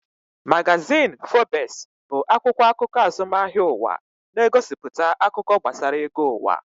Magazin Forbes bụ akwụkwọ akụkọ azụmahịa ụwa, na-egosipụta akụkọ gbasara ego ụwa